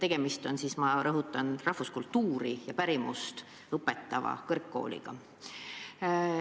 Aga tegemist on, ma rõhutan, rahvuskultuuri ja pärimust õpetava kõrgkooliga.